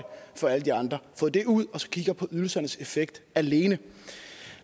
for alle de andre fået det ud så man kigger på ydelsernes effekt alene